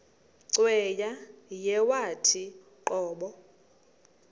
cweya yawathi qobo